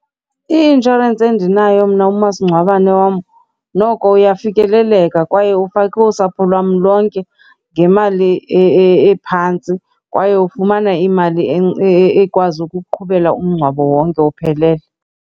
I-inshorensi endinayo mna umasingcwabane wam noko uyafikeleleka kwaye ufake usapho lwam lonke ngemali ephantsi kwaye ufumana imali ekwazi ukuqhubela umngcwabo wonke uphelele.